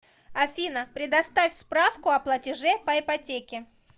афина предоставь справку о платеже по ипотеке